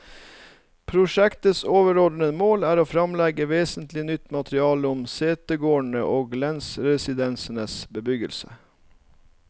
Prosjektets overordede mål er å fremlegge vesentlig nytt materiale om setegårdene og lensresidensenes bebyggelse.